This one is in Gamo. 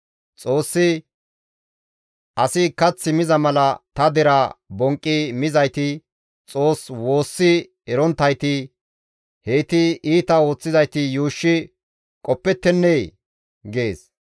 Xoossi, «Asi kath miza mala ta deraa bonqqi mizayti, Xoos woossi eronttayti, heyti iita ooththizayti yuushshi qoppettennee?» gees.